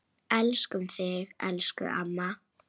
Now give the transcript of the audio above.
Svar birtist síðar.